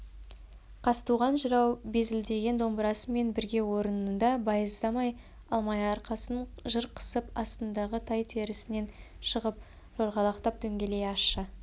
қазтуған жырау безілдеген домбырасымен бірге орнында байыздай алмай арқасын жыр қысып астындағы тай терісінен шығып жорғалақтап дөңгелей ащы